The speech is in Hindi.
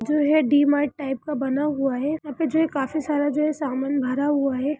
जो है डी मार्ट टाइप का बना हुआ है यहां पे जो है काफी सारा सामान भरा हुआ है।